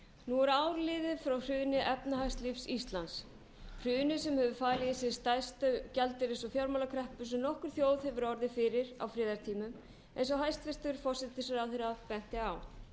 nú er ár liðið frá hruni efnahagslífs íslands hruni sem hefur falið í sér stærstu gjaldeyris og fjármálakreppu sem nokkur þjóð hefur orðið fyrir á friðartímum eins og hæstvirtur forsætisráðherra benti á